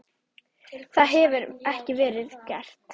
Það hefur ekki verið gert.